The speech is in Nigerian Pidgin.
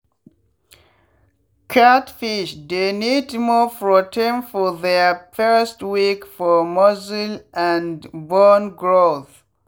catfish dey need more protein for their first weeks for muscle and bone growth.